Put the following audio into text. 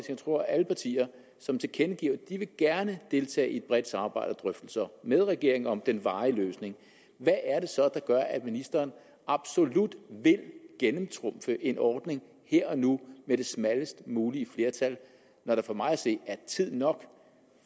jeg tror af alle partier som tilkendegiver at de gerne deltage i et bredt samarbejde og drøftelser med regeringen om den varige løsning hvad er det så der gør at ministeren absolut vil gennemtrumfe en ordning her og nu med det smallest mulige flertal der er for mig at se tid nok